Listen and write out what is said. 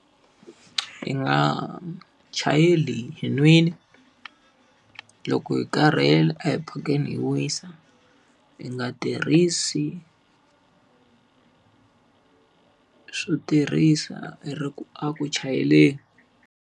Hi nga chayeli hi nwile. Loko hi karhele a hi phakeni hi wisa, hi nga tirhisi swo tirhisa ri ku a ku chayeleni.